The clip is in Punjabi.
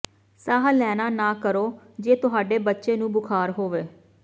ਸਾਹ ਲੈਣਾ ਨਾ ਕਰੋ ਜੇ ਤੁਹਾਡੇ ਬੱਚੇ ਨੂੰ ਬੁਖ਼ਾਰ ਹੋਵੇ